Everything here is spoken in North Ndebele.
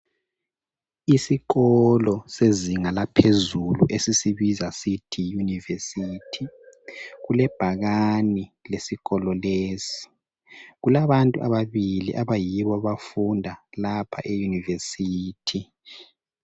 Isikolo sezinga laphezulu esisibiza sithi yunivesithi kule bhakane esikolo lesi kulabantu ababili abayibo abafunda lapha eyunivesithi.